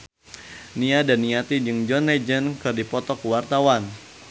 Nia Daniati jeung John Legend keur dipoto ku wartawan